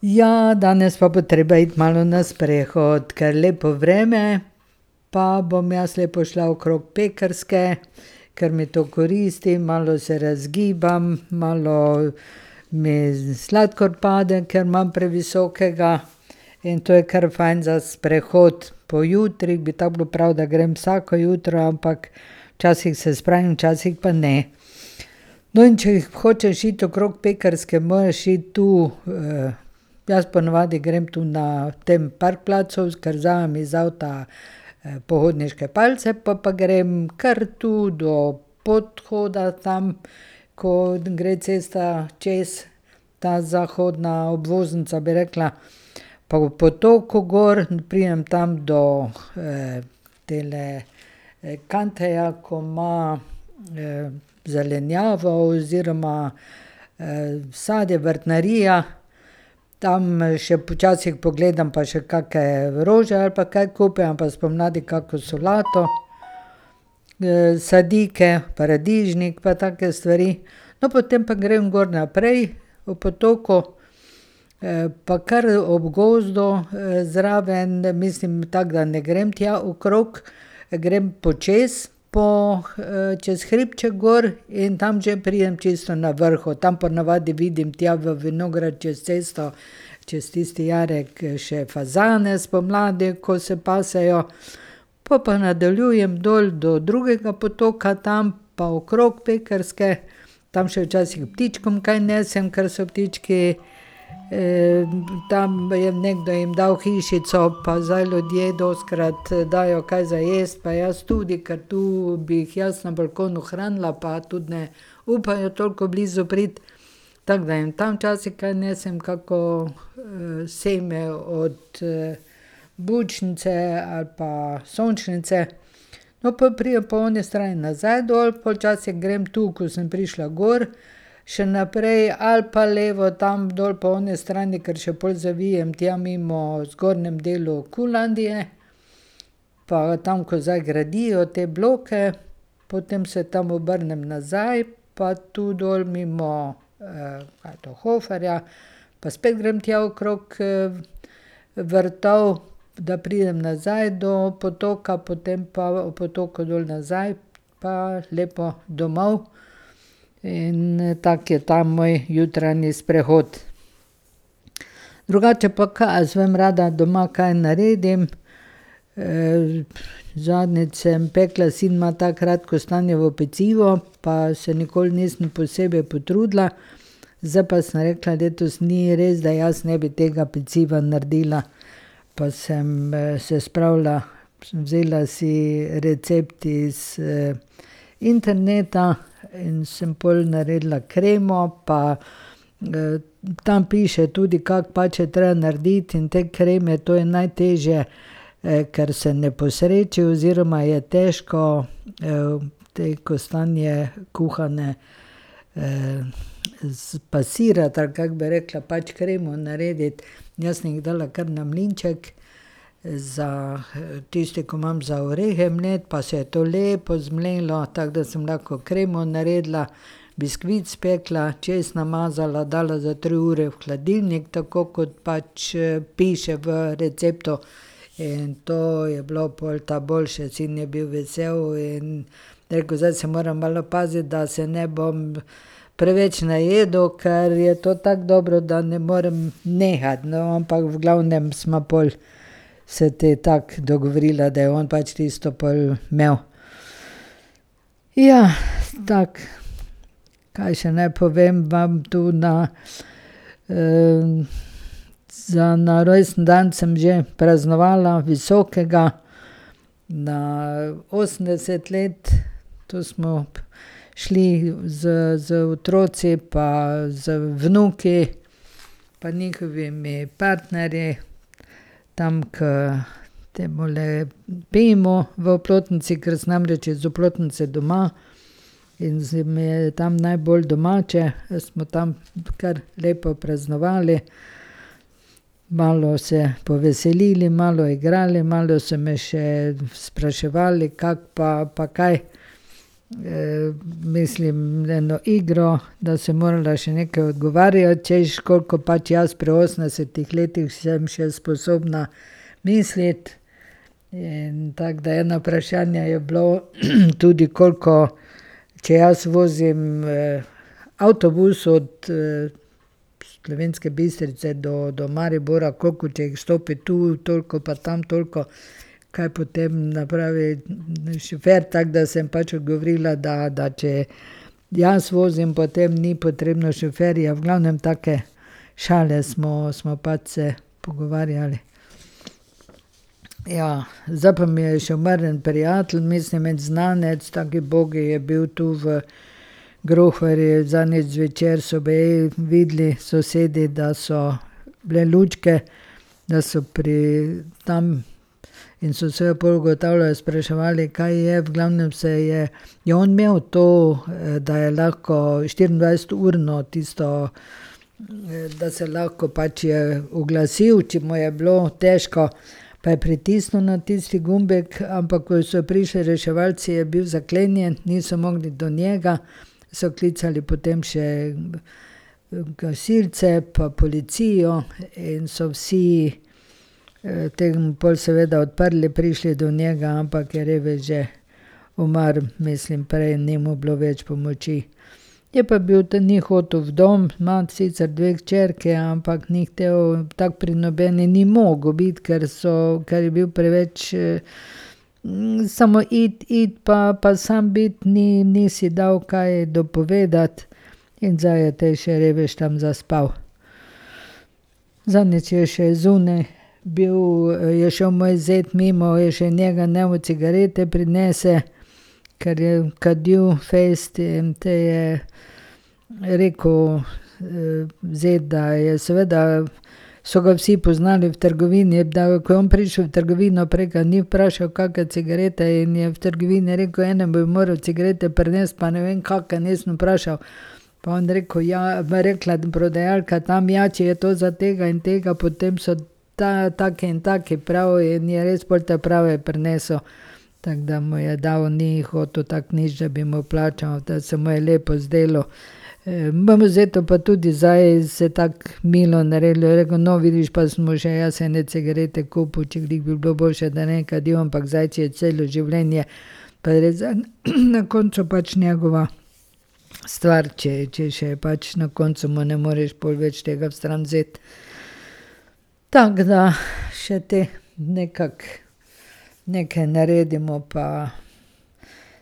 Ja, danes pa bo treba iti malo na sprehod, ker lepo vreme, pa bom jaz lepo šla okrog Pekrske, ker mi to koristi, malo se razgibam, malo me sladkor pade, ker imam previsokega, in to je kar fajn za sprehod po jutri, bi tako bilo prav, da grem vsako jutro, ampak včasih se spravim, včasih pa ne. No, in če hočeš iti okrog Pekrske, moraš iti tu jaz ponavadi grem tu na tem parkplacu, kar vzamem iz avta pohodniške palice, po pa grem kar tu do podhoda tam, ko gre cesta čez, ta zahodna obvoznica, bi rekla, pa ob potoku gor, pridem tam do tele Kanteja, ko ima zelenjavo oziroma sadje, vrtnarija. Tam še počasih pogledam pa še kakšne rože ali pa kaj kupim ali pa spomladi kako solato, sadike, paradižnik pa take stvari. No, potem pa grem gor naprej ob potoku pa kar ob gozdu zraven, mislim tako da ne grem tja okrog, grem počez po čez hribček gor, in tam že pridem čisto na vrhu, tam ponavadi vidim tja v vinograd čez cesto, čez tisti jarek še fazane spomladi, ko se pasejo. Pol pa nadaljujem dol do drugega potoka, tam pa okrog Pekrske, tam še včasih ptičkom kaj nesem, ker so ptički. Tam je nekdo jim dal hišico pa zdaj ljudje dostikrat dajo kaj za jesti pa jaz tudi, ker tu bi jih jaz na balkonu hranila, pa tudi ne upajo toliko blizu priti. Tako da jim tam včasih kaj nesem, kako same od bučnice ali pa sončnice. No, pol pridem po oni strani nazaj dol pol včasih grem tu, ko sem prišla gor še naprej ali pa levo tam dol po oni strani, kar še pol zavijem tja mimo v zgornjem delu Qlandie pa tam, ko zdaj gradijo te bloke, potem se tam obrnem nazaj pa tu dol mimo, kaj je to, Hoferja, pa spet grem tja okrog v vrtov, da pridem nazaj do potoka, potem pa ob potoku dol nazaj pa lepo domov. In tak je ta moj jutranji sprehod. Drugače pa, kaj jaz vem, rada doma kaj naredim. Zadnjič sem pekla, sin ima tako rad kostanjevo pecivo, pa se nikoli nisem posebej potrudila. Zdaj pa sem rekla, letos ni res, da jaz ne bi tega peciva naredila. Pa sem se spravila, sem vzela si recept iz interneta in sem pol naredila kremo pa tam piše tudi, kako pač je treba narediti in te kreme, to je najtežje, ker se ne posreči oziroma je težko te kostanje kuhane spasirati, ali kako bi rekla, pač kremo narediti, in jaz sem jih dala kar na mlinček za tisti ko imam za orehe mleti, pa se je to lepo zmlelo, tako da sem lahko kremo naredila, biskvit spekla, čez namazala, dala za tri ure v hladilnik, tako kot pač piše v receptu. In to je bilo pol ta boljše, sin je bil vesel in je rekel, zdaj se moram malo paziti, da se ne bom preveč najedel, ker je to tako dobro, da ne morem nehati, no, ampak v glavnem sva pol se te tako dogovorila, da je on pač tisto pol imel. Ja, tako. Kaj še naj povem vam tu na? Za na rojstni dan sem že praznovala visokega, na osemdeset let. Tu smo šli z z otroci pa z vnuki pa njihovimi partnerji tam, ko temule Bimu v Oplotnici, ker sem namreč iz Oplotnice doma, in se mi je tam najbolj domače, smo tam kar lepo praznovali. Malo se poveselili, malo igrali, malo so me še spraševali, kako pa pa kaj. Mislim eno igro, da sem morala še nekaj odgovarjati, češ, koliko pač jaz pri osemdesetih letih sem še sposobna misliti. In tako da eno vprašanje je bilo tudi, koliko, če jaz vozim avtobus od Slovenske Bistrice do do Maribora, koliko če jih vstopi tu, toliko pa tam toliko, kaj potem napravi šofer, tako da sem pač odgovorila, da, da če jaz vozim, potem ni potrebno šoferja, v glavnem take šale smo smo pač se pogovarjali. Ja. Zdaj pa mi je še umrl en prijatelj, mislim en znanec, taki ubogi je bil tu v gruharji, zadnjič zvečer so baje videli sosedi, da so bile lučke, da so pri, tam. In so se pol ugotavljali, spraševali, kaj je, v glavnem je on imel to da je lahko štiriindvajseturno tisto, da se lahko pač je oglasil, če mu je bilo težko, pa je pritisnil na tisti gumbek, ampak ko so prišli reševalci, je bil zaklenjen, niso mogli do njega, so klicali potem še gasilci pa policijo in so vsi pol seveda odprli, prišli do njega, ampak je revež že umrl, mislim prej, ni mu bilo več pomoči. Je pa bil tu njihov tuf dom, ima on sicer dve hčerki, ampak ni hotel, tako pri nobeni ni mogel biti, ker so, ker je bil preveč samo pojdi, pojdi pa pa, sam biti, ni, ni, si dal kaj dopovedati, in zdaj je te še revež tam zaspal. Zadnjič je še zunaj bil je šel moj zet mimo, je še njega, naj mu cigarete prinese, ker je kadil fejst, in te je rekel zet, da je seveda, so ga vsi poznali v trgovini, je da, ko je on prišel v trgovino, prej ga ni vprašal, kake cigarete in je v trgovini rekel: "Ene bi moral cigarete prinesti, pa ne vem kakšne, nisem vprašal." Pa je on rekel, ja, pa je rekla prodajalka tam: "Ja, če je to za tega in tega, potem so ta take in take prav." In je res pol ta prave prinesel. Tako da mu je dal, ni hotel tako nič, da bi mu plačal, da se mu je lepo zdelo. pa tudi zdaj se tako milo naredili, je rekel: "No, vidiš pa sem mu še jaz ene cigarete kupil, če bi bilo boljše, da ne bi kadil, ampak zdaj, če je celo življenje, pa je res zdaj na koncu pač njegova stvar, če, če še je pač na koncu, mu ne moreš pol več tega stran vzeti." Tako da še te nekako, neke naredimo pa